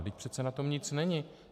Vždyť přece na tom nic není.